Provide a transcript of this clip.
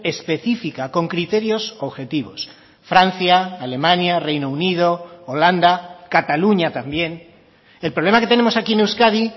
específica con criterios objetivos francia alemania reino unido holanda cataluña también el problema que tenemos aquí en euskadi